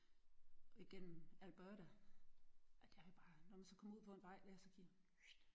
Igennem Alberta og der var vi bare når man så kommer ud på en vej der og så kigger pfft